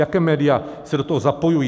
Jaká média se do toho zapojují?